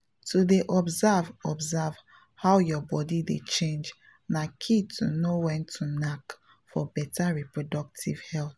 to dey observe observe how your body dey change na key to know when to knack for better reproductive health.